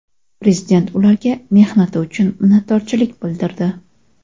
Prezident ularga mehnati uchun minnatdorchilik bildirdi.